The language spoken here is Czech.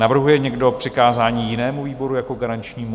Navrhuje někdo přikázání jinému výboru jako garančnímu?